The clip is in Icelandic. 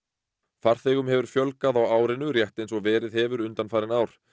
farþegum hefur fjölgað á árinu rétt eins og verið hefur undanfarin ár